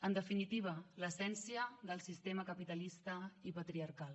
en definitiva l’essència del sistema capitalista i patriarcal